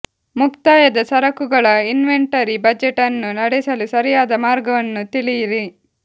ಮುಕ್ತಾಯದ ಸರಕುಗಳ inventory budget ಅನ್ನು ನಡೆಸಲು ಸರಿಯಾದ ಮಾರ್ಗವನ್ನು ತಿಳಿಯಿರಿ